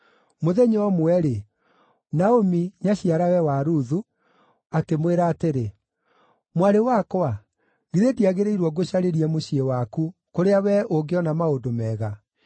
Mũthenya ũmwe-rĩ, Naomi, nyaciarawe wa Ruthu, akĩmwĩra atĩrĩ, “Mwarĩ wakwa, githĩ ndiagĩrĩirwo ngũcarĩrie mũciĩ waku, kũrĩa wee ũngĩona maũndũ mega?